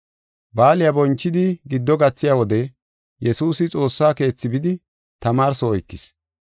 Baaliya bonchidi giddo gathiya wode Yesuusi Xoossa Keethi bidi tamaarso oykis.